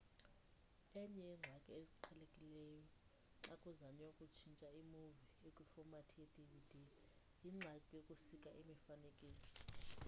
enye yeengxaki eziqhelekileyo xa kuzanywa ukutshintsha imuvi ekwifomathi ye-dvd yingxaki yokusika imifanekiso